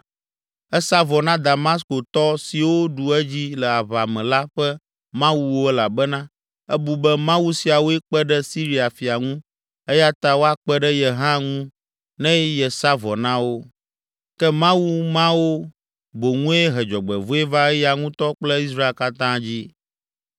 Esa vɔ na Damaskotɔ siwo ɖu edzi le aʋa me la ƒe mawuwo elabena ebu be, mawu siawoe kpe ɖe Siria fia ŋu eya ta woakpe ɖe ye hã ŋu ne yesa vɔ na wo. Ke mawu mawo boŋue he dzɔgbevɔ̃e va eya ŋutɔ kple Israel katã dzi.